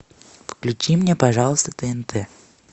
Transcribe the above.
включи мне пожалуйста тнт